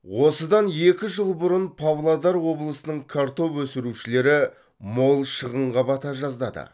осыдан екі жыл бұрын павлодар облысының картоп өсірушілері мол шығынға бата жаздады